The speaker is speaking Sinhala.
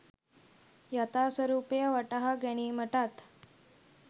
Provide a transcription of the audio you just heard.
යථා ස්වරූපය වටහා ගැනීමටත්